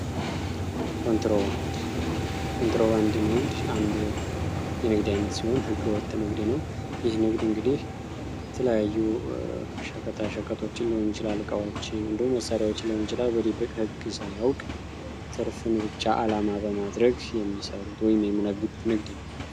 ኮንትሮባንድ ኮንትሮባንድ ንግድ አንዱ የንግድ አይነት ሲሆን ህገወጥ ንግድ ነው። ይህ ንግድ እንግዲህ የተለያዩ ሸቀጣሸቀጦችን ሊሆን ይችላል እቃዎችን ሊሆን ይችላል በድብቅ ህግ ሳያውቅ ትርፍን ብቻ አላማ በማድረግ የሚሰሩት ወይም የሚነግዱት ንግድ ነው።